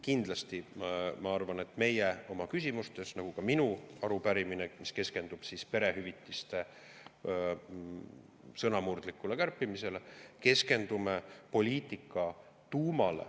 Kindlasti ma arvan, et meie oma küsimustes keskendume poliitika tuumale, nagu ka minu arupärimine, mis keskendub perehüvitiste sõnamurdlikule kärpimisele.